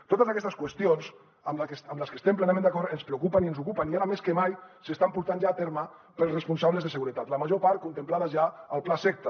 totes aquestes qüestions en les que estem plenament d’acord ens preocupen i ens ocupen i ara més que mai s’estan portant ja a terme pels responsables de seguretat la major part contemplades ja al plaseqta